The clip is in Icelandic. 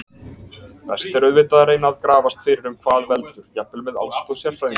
Best er auðvitað að reyna að grafast fyrir um hvað veldur, jafnvel með aðstoð sérfræðinga.